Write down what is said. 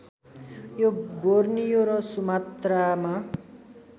यो बोर्नियो र सुमात्रामा